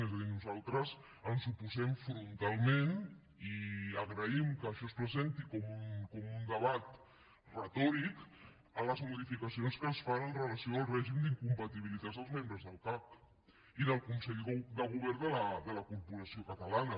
és a dir nosaltres ens oposem frontalment i agraïm que això es presenti com un debat retòric a les modificacions que es fan amb relació al règim d’incompatibilitats dels membres del cac i del consell de govern de la corporació catalana